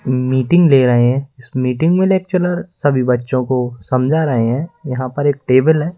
Meeting ले रहे हैं इस मीटिंग में लेक्चरर सभी बच्चों को समझा रहे हैं यहां पर एक टेबल है।